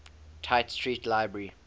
tite street library